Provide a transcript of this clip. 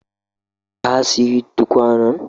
Ka siyi tukwanan?